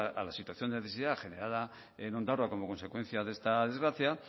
a la situación de necesidad generada en ondarroa como consecuencia de esta desgracia